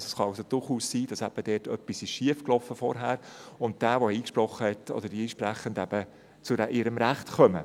Es kann also durchaus sein, dass dort zuvor etwas schiefgelaufen ist, und die Einsprechenden eben zu ihrem Recht kommen.